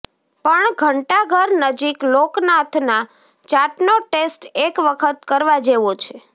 પણ ધંટાઘર નજીક લોકનાથના ચાટનો ટેસ્ટ એક વખત કરવા જેવો છે